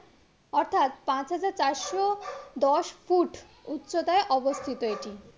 অর্থাৎ পাঁচ হাজার চারশো দশ ফুট উচ্চতায় অবস্থিত এটি